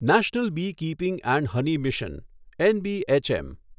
national beekeeping and honey mission NBHM